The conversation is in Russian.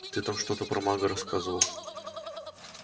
ты там что-то про мага рассказывал